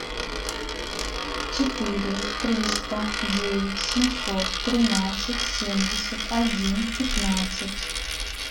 четыре триста девять семьсот тринадцать семьдесят один пятнадцать